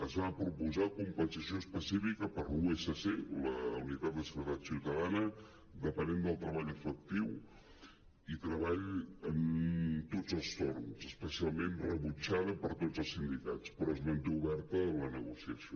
es va proposar compensació específica per a l’usc la unitat de seguretat ciutada·na depenent del treball efectiu i treball en tots els torns especialment rebutjada per tots els sindicats però es manté oberta la negociació